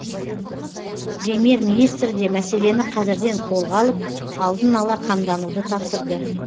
премьер министр де мәселені қазірден қолға алып алдын ала қамдануды тапсырды